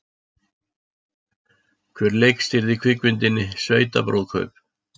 Hver leikstýrði kvikmyndinni Sveitabrúðkaup?